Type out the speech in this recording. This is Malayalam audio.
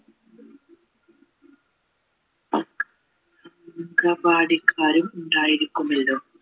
ക്കാരും കൂടെ ഉണ്ടായിരിക്കുമല്ലോ